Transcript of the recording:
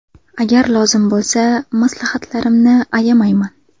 Agar lozim bo‘lsa – maslahatlarimni ayamayman.